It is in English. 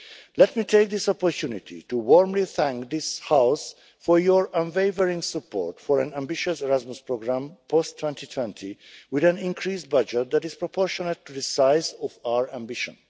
Let me take this opportunity to warmly thank this House for your unwavering support for an ambitious Erasmus programme post 2020, with an increased budget that is proportionate to the size of our ambition.